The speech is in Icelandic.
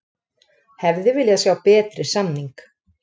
Hefði viljað sjá betri samning